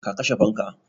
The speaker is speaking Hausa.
Ka kashe fanka?